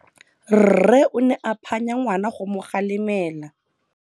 Rre o ne a phanya ngwana go mo galemela.